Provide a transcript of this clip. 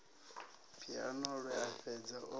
phiano lwe a fhedza o